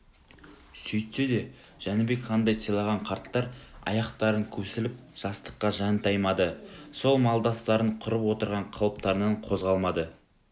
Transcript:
сөйтсе де жәнібек ханды сыйлаған қарттар аяқтарын көсіліп жастыққа жантаймады сол малдастарын құрып отырған қалыптарынан қозғалмады